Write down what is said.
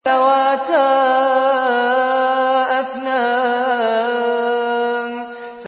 ذَوَاتَا أَفْنَانٍ